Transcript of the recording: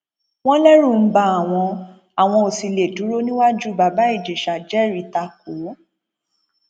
wọn lẹrù ń ba àwọn àwọn ò sì lè dúró níwájú bàbá ìjẹsà jẹrìí ta kò ó